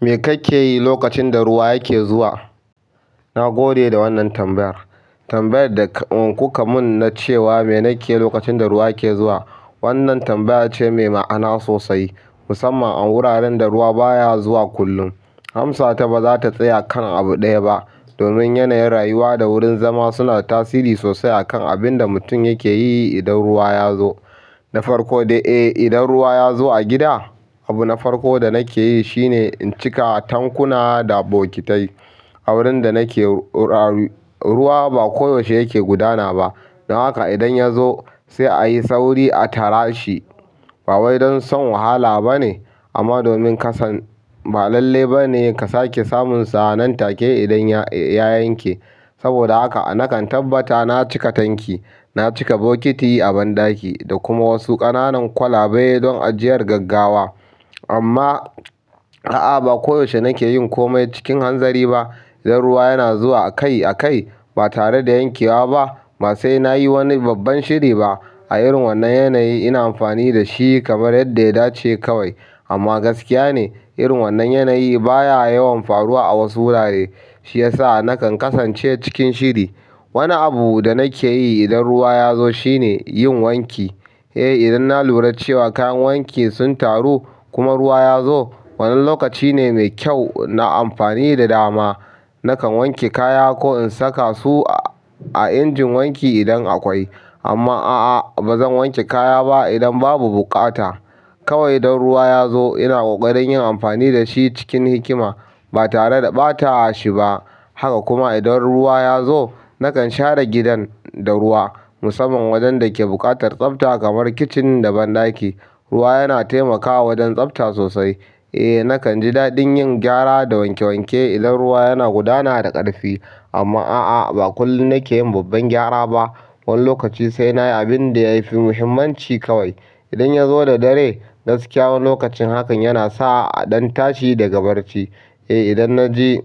Me kake yi lokacin da ruwa yake zuwa? Na gode da wannan tambayar. Tambayarda kukamin na cewa me nakeyi lokacin da ruwa yake zuwa wannan tambaya ce mai ma'ana sosai, musamman a wuraren da ruwa baya zuwa kullum. Amsata bazata tsaya kan abu ɗaya ba, domin yanayin rayuwa da wurin zama suna tasiri sosai akan abinda mutum yakeyi idan ruwa ya zo na farko dai eh idan ruwa yazo a gida abu na farki da nakeyi shine in cika tankuna da bukitai. A wurin da nake, ruwa ba koyaushe yake gudana ba, don haka idan ya zo sai a yi sauri a tara shi. Ba wai don son wahala ba ne, amma domin ka san ba lalle ba ne ka sake samun sa nan take idan ya yanke. Saboda haka nakan tabbata na cika tanki, na cika bokiti a banɗaki, da kuma wasu ƙananan kwalabe don ajiyar gaggawa. Amma, a'a, ba koyaushe nake yin kome cikin hanzari ba. Idan ruwa yana zuwa a kai a kai, ba tare da yankewa ba, ma sai na yi wani babban shiri ba. A irin wannan yanayi ina amfani da shi kamar yadda ya dace kawai. Amma gaskiya ne, irin wannan yanayi baya yawan faruwa a wasu wurare. Shi ya sa nakan kasance cikin shiri. Wani abu da nake yi idan ruwa ya zo shine yin wanki. Eh, idan na lura cewa kayan wanki sun taru kuma ruwa ya zo, wannan lokaci ne mai kyau na amfani da dama. Nakan wanke kaya ko in saka su a injin wanki idan akwai. Amma a'a, ba zan wanke kaya ba idan babu buƙata. Kawai don ruwa ya zo ina ƙoƙarin yin amfani da shi cikin hikima ba tare da ɓatashi ba. Haka kuma idan ruwa ya zo, nakan share gidan da ruwa, musamman wajen da ke buƙatar tsafta kamar kicin da banɗaki. Ruwa yana taimakawa wajen tsafta sosai. Eh, nakan ji daɗin yin gyara da wanke wanke idan ruwa yana gudana da ƙarfi. Amma a'a, ba kullum nake yin babban gyara ba. Wani lokaci sai nayi abin da ya fi muhimmanci kawai. Idan ya zo da dare, gaskiya wani lokacin hakan yana sa a ɗan tashi daga barci. Eh, idan na ji,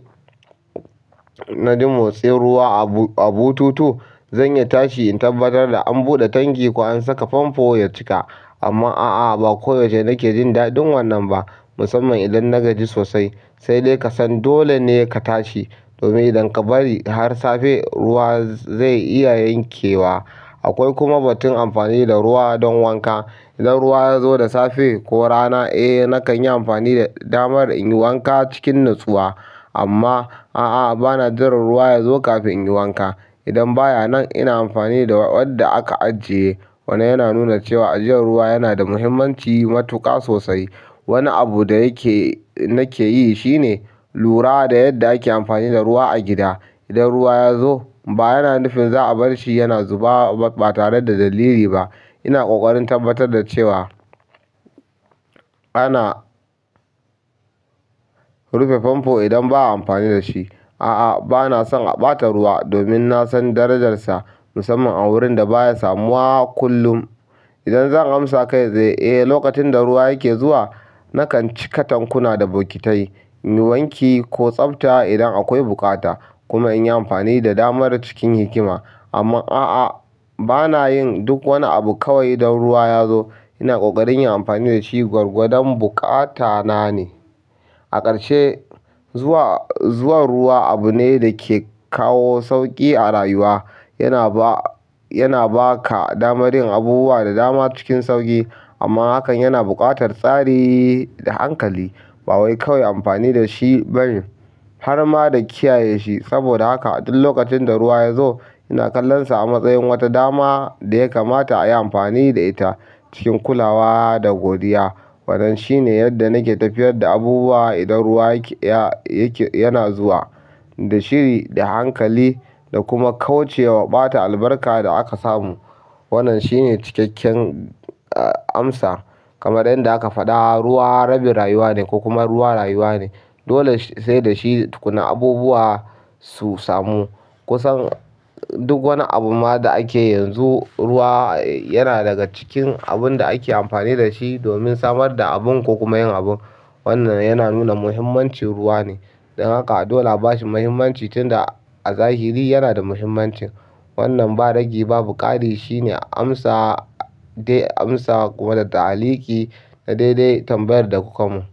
na ji motsin ruwa a bututu, zan iya tashi in tabbatar da an buɗe tanki ko an saka famfo ya cika. Amma a'a, ba koyaushe nake jin daɗin wannan ba, musamman idan na gaji sosai. Sai dai ka san dole ne ka tashi domin idan ka bari har safe ruwa zai iya yankewa. Akwai kuma batun amfani da ruwa don wanka. Idan ruwa ya zo da safe ko rana, eh, nakan yi amfani da damar in yi wanƙa cikin natsuwa. Amma a'a, ba na jiran ruwa ya zo kafin in yi wanƙa. Idan baya nan ina amfani da wadda aka ajiye. Wannan yana nuna cewa ajiyan ruwa yanada matuƙar muhummanci sosai. Wani abu da yake, nake yi shine lura da yadda ake amfani da ruwa a gida. Idan ruwa ya zo ba yana nufin za a bar shi yana zuba ba tare da dalili ba. Ina ƙoƙarin tabbatar da cewa ana rufe famfo idan ba a amfani da shi. Aa bana son a ɓata ruwa domin na san darajarsa musamman a wurin da baya samuwa kullum idan zan amsa kai tsaye eh lokacinda ruwa yake zuwa nakan cika tankuna da bokitai, in yi wanki ko tsafta idan akwai buƙata, kuma in yi amfani da damar cikin hikima. Amma a'a, ba na yin duk wani abu kawai idan ruwa ya zo. Ina ƙoƙarin yin amfani da shi gwargwadon buƙatana ne. A ƙarshe, zuwa, zuwan ruwa abu ne da ke kawo sauƙi a rayuwa. Yana ba, yana ba ka damar yin abubuwa da dama cikin sauƙi. Amma hakan yana buƙatar tsari da hankali. Ba wai kawai amfani da shi ba ne har ma da kiyaye shi. Saboda haka duk lokacin da ruwa ya zo ina kallonsa a matsayin wata dama da ya kamata a yi amfani da ita cikin kulawa da godiya. Wannan shine yadda nake tafiyar da abubuwa idan ruwa yake, yana zuwa, da shiri, da hankali, da kuma kauce wa ɓata albarka da aka samu. Wannan shine cikakken, a, amsa. Kamar yadda aka faɗa, ruwa rabin rayuwa ne ko kuma ruwa rayuwa ne. Dole sai da shi tukuna abubuwa su samu kusan duk wani abu ma da ake yanzu ruwa yana daga cikin abun da ake amfani da shi domin samar da abun ko kuma yin abun. Wannan yana nuna muhimmancin ruwa ne. Don haka dole a bashi muhimmanci tunda a zahira yanada muhimmancin. Wannan ba rage babu ƙari shine amsa, dai amsa kuma da ta'likki da daidai tambayar da kuka mun.